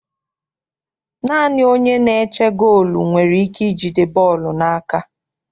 Naanị onye na-eche goolu nwere ikike ijide bọọlụ n'aka.